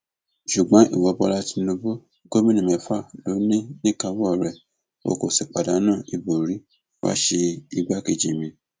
ṣùgbọn ìwo bọlá tìǹbù gómìnà mẹfà ló ní níkàáwọ rẹ o kò sì pàdánù ìbò rí wàá ṣe igbákejì mi